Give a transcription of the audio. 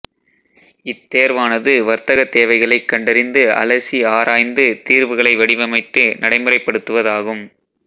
இத் தேர்வானது வர்தகத் தேவைகளைக் கண்டறிந்து அலசி ஆராய்ந்து தீர்வுகளை வடிவமைத்து நடைமுறைப் படுத்துவதாகும்